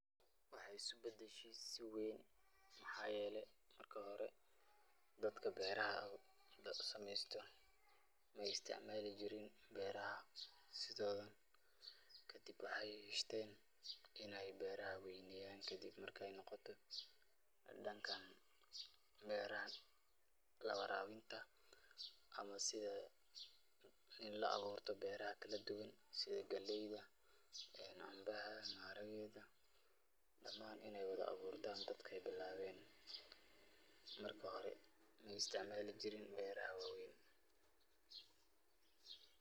Waxeey isku badashe si weyn waxaa yeele marki hore dadka beeraha sameesto maay isticmaali jirin beeraha, kadib waxeey yeshteen inaay beeraha weydiyaan kadib markaay noqoto danka beeraha waraabinta ama sida in la abuurto beeraha kala duban sida galeyda, canbaha, maharageeda damaan inaay wada abuurtaan dadka bilaabeen, marka hore maay isticmaali jirin beeraha waweyn.